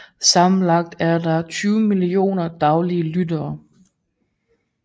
Sammenlagt er der 20 millioner daglige lyttere